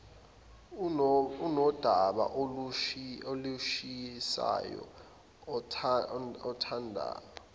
unodaba olushisayo othanda